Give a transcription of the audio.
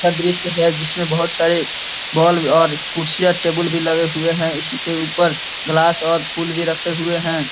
अच्छा दृश्य है जिसमें बहुत सारे बल्ब और कुर्सियाँ टेबुल भी लगे हुए हैं इसके ऊपर गिलास और फूल भी रखे हुए हैं।